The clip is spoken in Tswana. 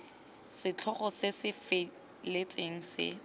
setlhogo se se feletseng se